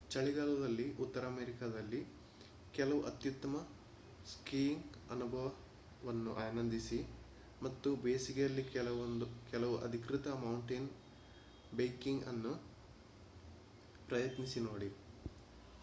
ಚಳಿಗಾಲದಲ್ಲಿ ಉತ್ತರ ಅಮೆರಿಕಾದಲ್ಲಿ ಕೆಲವು ಅತ್ಯುತ್ತಮ ಸ್ಕೀಯಿಂಗ್ ಅನುಭವವನ್ನು ಆನಂದಿಸಿ ಮತ್ತು ಬೇಸಿಗೆಯಲ್ಲಿ ಕೆಲವು ಅಧಿಕೃತ ಮೌಂಟೇನ್ ಬೈಕಿಂಗ್ ಅನ್ನು ಪ್ರಯತ್ನಿಸಿ ನೋಡಿ